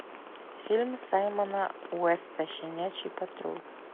фильм саймона уэста щенячий патруль